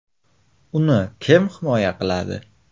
Uni kim himoya qiladi?.